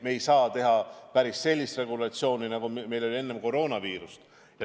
Me ei saa teha päris sellist regulatsiooni, nagu meil oli enne koroonaviirust.